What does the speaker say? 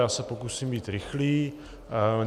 Já se pokusím být rychlý.